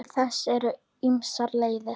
Til þess eru ýmsar leiðir.